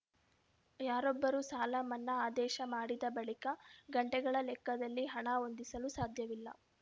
ಯಾರೊಬ್ಬರೂ ಸಾಲ ಮನ್ನಾ ಆದೇಶ ಮಾಡಿದ ಬಳಿಕ ಗಂಟೆಗಳ ಲೆಕ್ಕದಲ್ಲಿ ಹಣ ಹೊಂದಿಸಲು ಸಾಧ್ಯವಿಲ್ಲ